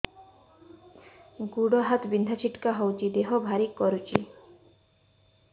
ଗୁଡ଼ ହାତ ବିନ୍ଧା ଛିଟିକା ହଉଚି ଦେହ ଭାରି କରୁଚି